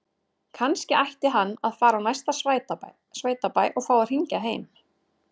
Kannski ætti hann að fara á næsta sveitabæ og fá að hringja heim?